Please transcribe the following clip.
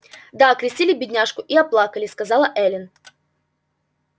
да окрестили бедняжку и оплакали сказала эллин